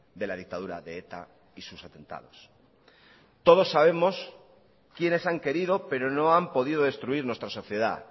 de la dictadura de eta y sus atentados todos sabemos quiénes han querido pero no han podido destruir nuestra sociedad